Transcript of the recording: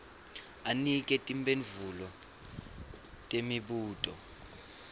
anike timphendvulo temibuto